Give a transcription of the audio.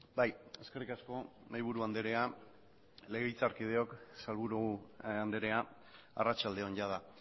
bai eskerrik asko mahaiburu andrea legebiltzarkideok sailburu andrea arratsalde on jada